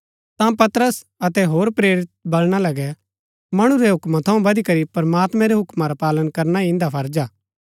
ता पतरस अतै होर प्रेरित बलणा लगै मणु रै हूक्मा थऊँ बदीकरी प्रमात्मैं रै हूक्मा रा पालन करना ही इन्दा फर्ज हा